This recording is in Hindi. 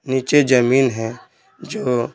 नीचे जमीन है जो--